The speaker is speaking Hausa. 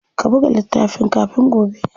Ka buga littafin kafin gobe.